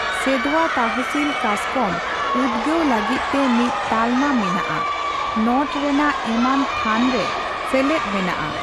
ᱥᱮᱸᱫᱷᱣᱟ ᱛᱟᱦᱥᱤᱞ ᱠᱟᱥᱠᱚᱢ ᱩᱫᱭᱚᱜ ᱞᱟᱹᱜᱤᱫ ᱛᱮ ᱢᱤᱫ ᱛᱟᱞᱢᱟ ᱢᱮᱱᱟᱜᱼᱟ ᱾ ᱱᱚᱴ ᱨᱮᱱᱟᱜ ᱮᱢᱟᱱ ᱛᱷᱟᱱ ᱨᱮ ᱥᱮᱞᱮᱫ ᱢᱮᱱᱟᱜᱼᱟ᱾